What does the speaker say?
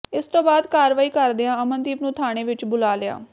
ਇਸ ਤੋਂ ਬਾਅਦ ਕਾਰਵਾਈ ਕਰਦਿਆਂ ਅਮਨਦੀਪ ਨੂੰ ਥਾਣੇ ਵਿੱਚ ਬੁਲਾ ਲਿਆ